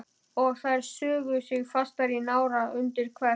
Og þær sugu sig fastar í nára og undir kverk.